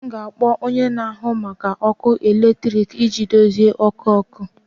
M ga-akpọ onye na-ahụ maka ọkụ eletrik iji dozie ọkụ ọkụ